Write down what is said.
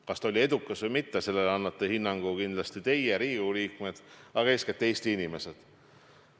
Kas see oli edukas või mitte, sellele annate hinnangu kindlasti teie, Riigikogu liikmed, aga eeskätt Eesti inimesed.